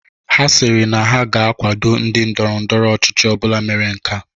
Ha sịrị na ha ga-akwado ndị ndọrọ ndọrọ ọchịchị ọbụla mere nkea